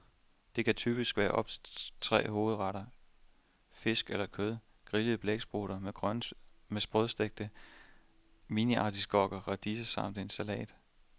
Detkan typisk være op til tre hovedretter, fisk eller kød, grilleret blæksprutte med sprødstegte miniartiskokker, radiser samt en salat.